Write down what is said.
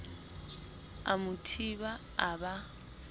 a mo thiba a ba